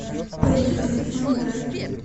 поехали фан драйв